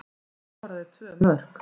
Hann skoraði tvö mörk